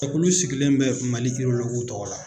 Jɛkulu sigilen bɛ Mali tɔgɔ la.